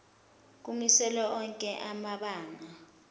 kumiselwe onke amabanga